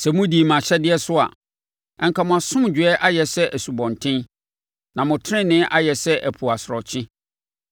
Sɛ modii mʼahyɛdeɛ so a, anka mo asomdwoeɛ ayɛ sɛ asubɔnten, na mo tenenee ayɛ sɛ ɛpo asorɔkye.